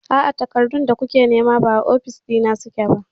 A'a, takardun da kuke nema ba a ofis na suke ba.